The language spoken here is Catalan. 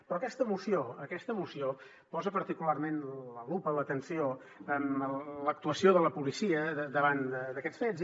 però aquesta moció aquesta moció posa particularment la lupa l’atenció en l’actuació de la policia davant d’aquests fets